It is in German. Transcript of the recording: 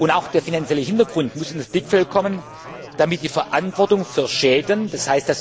Auch der finanzielle Hintergrund muss ins Blickfeld kommen, damit die Verantwortung für Schäden,